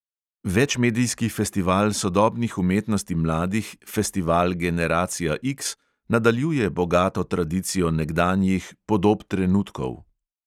Večmedijski festival sodobnih umetnosti mladih festival generacija X nadaljuje bogato tradicijo nekdanjih podob trenutkov.